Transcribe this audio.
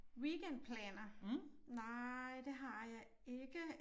Weekendplaner nej det har jeg ikke